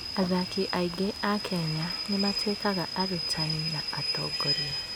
Athaki aingĩ a Kenya nĩ matuĩkaga arutani na atongoria.